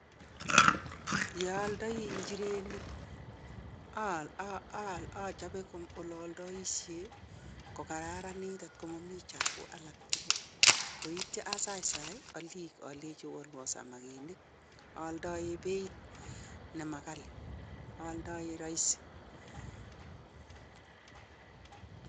Ye aaldai inchirenik achobe ole aaldaishe kokararanit atko mami chapuk alak tugul, koityo asaisai oliik oleji oalwo samakinik. Ooldoe beiit ne ma ghali. Ooldoe rahisi.